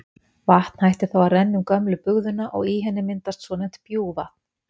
Vatn hættir þá að renna um gömlu bugðuna og í henni myndast svonefnt bjúgvatn.